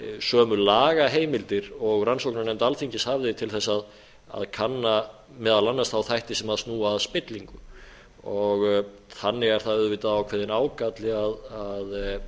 sömu lagaheimildir og rannsóknarnefnd alþingis hafði til þess að kanna meðal annars þá þætti sem snúa að spillingu þannig er það auðvitað ákveðinn ágalli að